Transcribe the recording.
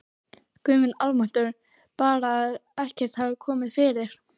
Guð minn almáttugur, bara að ekkert hafi komið fyrir!